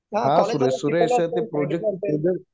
हा सुरेश. ते प्रोजेक्टचं